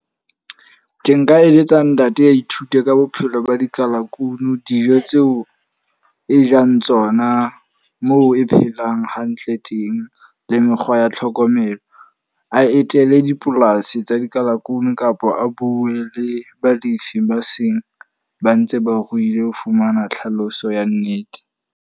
Ke nka eletsa ntate a ithute ka bophelo ba dikalakunu. Dijo tseo e jang tsona, moo e phelang hantle teng, le mekgwa ya ya tlhokomelo. A etele dipolasi tsa dikalakunu kapa a bue le balefi ba seng ba ntse ba ruile ho fumana tlhaloso ya nnete.